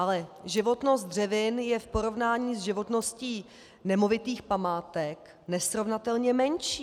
Ale životnost dřevin je v porovnání s životností nemovitých památek nesrovnatelně menší.